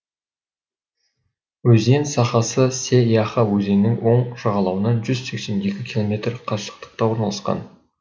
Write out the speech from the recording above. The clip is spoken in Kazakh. өзен сағасы се яха өзенінің оң жағалауынан жүз сексен екі километр қашықтықта орналасқан